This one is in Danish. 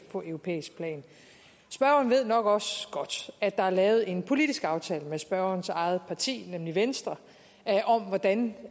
på europæisk plan spørgeren ved nok også godt at der er lavet en politisk aftale med spørgerens eget parti nemlig venstre om hvordan